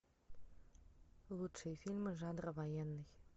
лучшие фильмы жанра военный